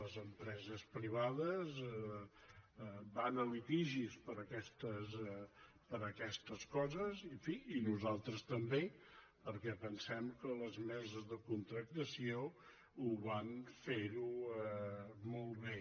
les empreses privades van a litigis per aquestes coses i en fi nosaltres també perquè pensem que les empreses de contractació ho van fer molt bé